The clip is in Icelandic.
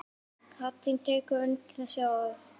Katrín tekur undir þessi orð.